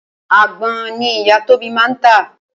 Àgbon ni ìyá Tóbi máa ń tà